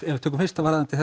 tökum fyrst varðandi